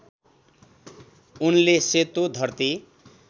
उनले सेतो धरती